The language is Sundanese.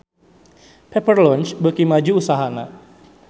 Pepper Lunch beuki maju usahana